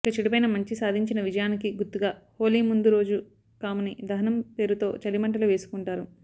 ఇలా చెడుపైన మంచి సాధించిన విజయానికి గుర్తుగా హోళీ ముందు రోజు కాముని దహనం పేరుతో చలిమంటలు వేసుకుంటారు